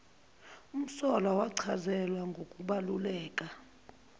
umsolwa wachazelwa ngokubaluleka